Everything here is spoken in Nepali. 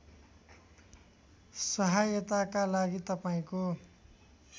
सहायताका लागि तपाईँको